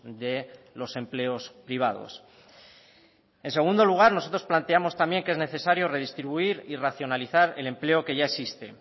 de los empleos privados en segundo lugar nosotros planteamos también que es necesario redistribuir y racionalizar el empleo que ya existe